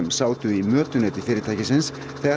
sátu í mötuneyti fyrirtækisins þegar